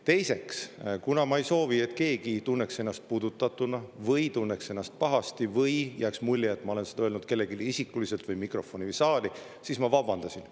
Teiseks, kuna ma ei soovi, et keegi tunneks ennast puudutatuna või pahasti või jääks mulje, et ma olen seda öelnud mikrofoni kellelegi isikuliselt või saali, siis ma vabandasin.